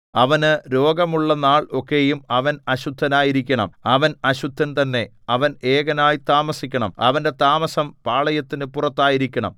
അവന് രോഗം ഉള്ള നാൾ ഒക്കെയും അവൻ അശുദ്ധനായിരിക്കണം അവൻ അശുദ്ധൻ തന്നെ അവൻ എകനായി താമസിക്കണം അവന്റെ താമസം പാളയത്തിനു പുറത്തായിരിക്കണം